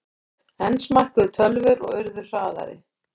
Enn smækkuðu tölvur og urðu hraðari.